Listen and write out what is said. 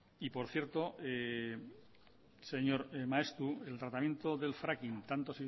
y por cierto señor maeztu el tratamiento del fracking tanto